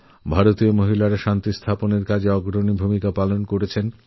ভারতীয় মহিলারা শান্তি স্থাপনপ্রক্রিয়ায় অত্যন্ত অগ্রণী ভূমিকা পালন করেছেন